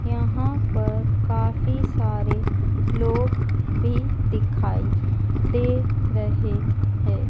यहां पर काफी सारे लोग भी दिखाई दे रहे हैं।